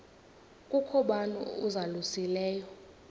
kukho bani uzalusileyo